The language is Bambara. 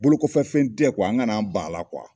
Bolokofɛ fɛn tɛ , an ka n'an ban a la